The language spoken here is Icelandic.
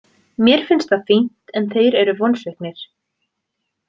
Mér finnst það fínt en þeir eru vonsviknir.